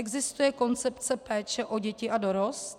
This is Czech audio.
Existuje koncepce péče o děti a dorost?